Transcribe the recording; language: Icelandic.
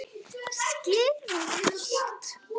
Skilur hún allt?